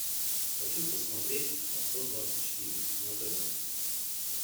хочу посмотреть авто двадцать четыре на тв